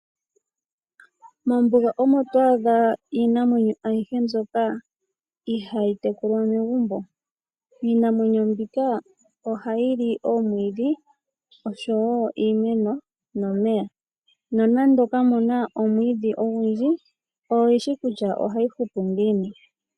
Mokuti omo twaaddha iinamwenyo ayihe mbyoka ihayi tekulwa megumbo. Iinamwenyo mbinga ohayi li omwiidhi oshowo iimeno nomeya nonande kamuna omwiidhi ogundji oyi shi kutya ohayi hupu ngiini.